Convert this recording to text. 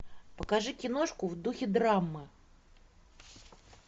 покажи киношку в духе драмы